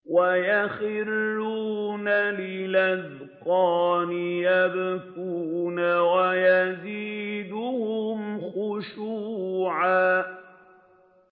وَيَخِرُّونَ لِلْأَذْقَانِ يَبْكُونَ وَيَزِيدُهُمْ خُشُوعًا ۩